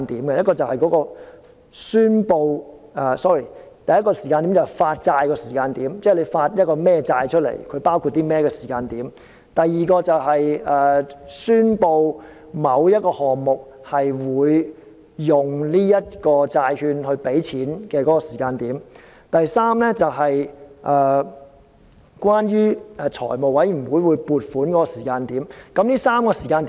第一個時間點是發債的時間，即公布發行甚麼債券和內容包括甚麼的時間。第二個時間點是宣布某一項目會用這些債券支付開支的時間。第三是財務委員會撥款的時間點。